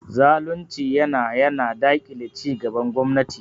Zalunci yana yana daƙile cigaban gwamnati.